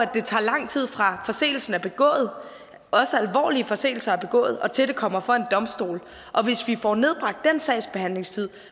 det tager lang tid fra forseelsen er begået også alvorlige forseelser og til det kommer for en domstol hvis vi får nedbragt den sagsbehandlingstid